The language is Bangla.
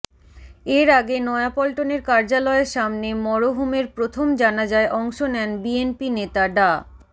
এর আগে নয়াপল্টনের কার্যালয়ের সামনে মরহুমের প্রথম জানাজায় অংশ নেন বিএনপি নেতা ডা